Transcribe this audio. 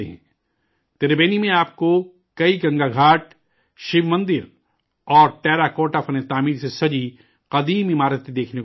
تربینی میں آپ کو کئی گنگا گھاٹ، شیو مندر اور ٹیراکوٹا فن تعمیر سے سجی قدیم عمارتیں دیکھنے کو مل جائیں گی